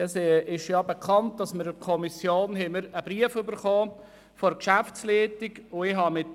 Es ist bekannt, dass die Kommission einen Brief der Geschäftsleitung des VK-BE erhalten hat.